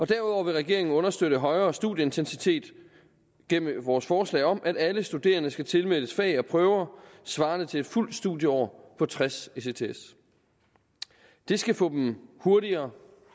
derudover vil regeringen understøtte højere studieintensitet gennem vores forslag om at alle studerende skal tilmeldes fag og prøver svarende til et fuldt studieår på tres ects det skal få dem hurtigere